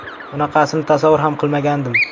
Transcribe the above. Bunaqasini tasavvur ham qilmagandim.